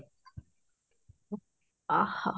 ଆହା